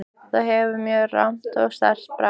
Það gefur mjög rammt og sterkt bragð.